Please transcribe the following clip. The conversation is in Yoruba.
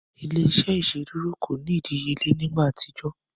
Ile-iṣẹ iṣeduro ko ni idiyele ni igba atijọ.